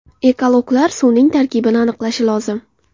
Ekologlar suvning tarkibini aniqlashi lozim.